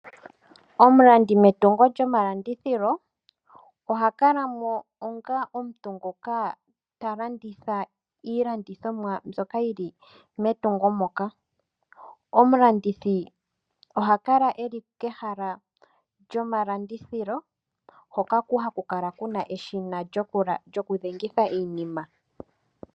Omulandithi metungo lyomalandithilo oha kala mo onga omuntu ngoka ta landitha iilandithimwa mbyoka yi li metungo moka. Omulandithi oha kala e li kehala lyomalandithilo hoka haku kala ku na eshina lyokudhengitha iinima.